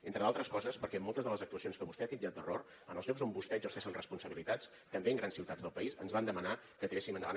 entre d’altres coses perquè moltes de les actuacions que vostè ha titllat d’error en els llocs on vostès exerceixen responsabilitats també en grans ciutats del país ens van demanar que tiréssim endavant